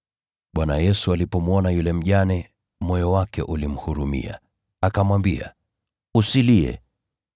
Bwana Yesu alipomwona yule mjane, moyo wake ulimhurumia, akamwambia, “Usilie.”